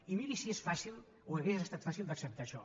i miri si és fàcil o hauria estat fàcil d’acceptar això